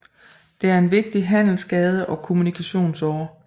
Det er en vigtig handelsgade og kommunikationsåre